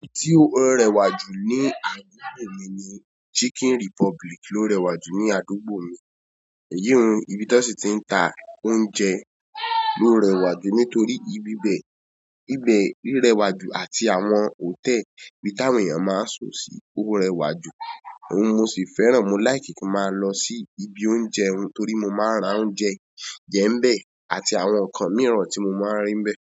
Ohun tó ń rẹwà jù ní àdúgbò mi ni Chicken Republic ló ń rẹwà jù ní àdúgbò mi. Yé hun, ibi tó ṣe ti ń ta oúnjẹ ló ń rẹwà jù nítorí ibi bẹ́ẹ̀, ibi rẹwà jù àti àwọn hòtẹ́ẹ̀lì tí àwọn èèyàn máa ń sọ̀ sí ó rẹwà jù. Ohun mo sì fẹ́ràn, mo láìkí kí n máa lọ sí ibi oúnjẹ torí mo máa ń rà oúnjẹ jẹ ń bẹ́ẹ̀ àti àwọn ǹkan mìíràn tí mo máa ń rí ń bẹ́ẹ̀